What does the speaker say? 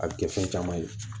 A bɛ kɛ fɛn caman ye